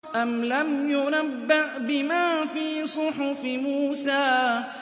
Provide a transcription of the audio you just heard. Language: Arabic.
أَمْ لَمْ يُنَبَّأْ بِمَا فِي صُحُفِ مُوسَىٰ